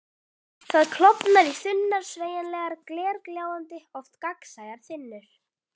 Það klofnar í þunnar, sveigjanlegar, glergljáandi, oft gagnsæjar þynnur.